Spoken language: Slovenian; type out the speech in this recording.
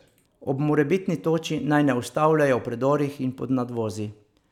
Ob morebitni toči naj ne ustavljajo v predorih in pod nadvozi.